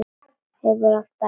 Hefur alltaf gert.